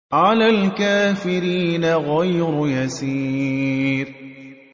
عَلَى الْكَافِرِينَ غَيْرُ يَسِيرٍ